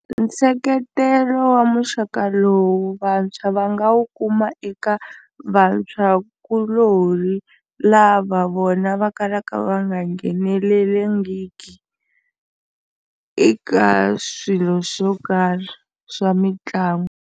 Nseketelo wa muxaka lowu vantshwa va nga wu kuma eka vantshwakulorhi lava vona va kalaka va nga nghenelelangiki eka swilo swo karhi swa mitlangu.